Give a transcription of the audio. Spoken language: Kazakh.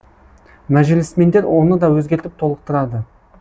мәжілісмендер оны да өзгертіп толықтырады